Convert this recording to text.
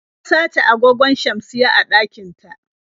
An sace agogon shamsiyya a ɗakin ta.